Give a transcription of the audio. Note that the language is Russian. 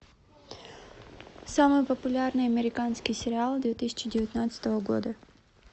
самый популярный американский сериал две тысячи девятнадцатого года